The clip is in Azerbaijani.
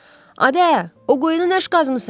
Adə, o quyunu nüş qazmısan?